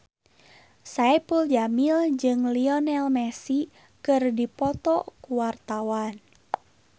Saipul Jamil jeung Lionel Messi keur dipoto ku wartawan